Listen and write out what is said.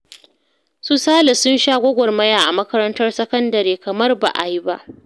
Su Sale sun sha gwagwarmaya a makarantar sakandare kamar ba a yi ba